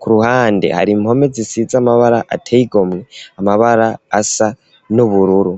ku ruhande hari impome zisize amabara ateye igomwe amabara asa n'ubururu.